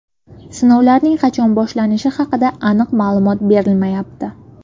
Sinovlarning qachon boshlanishi haqida aniq ma’lumot berilmayapti.